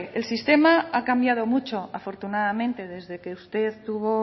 el sistema ha cambiado mucho afortunadamente desde que usted tuvo